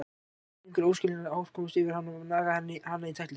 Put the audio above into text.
Hafði á einhvern óskiljanlegan hátt komist yfir hana og nagað hana í tætlur.